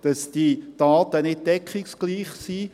dass diese Daten also nicht deckungsgleich sind.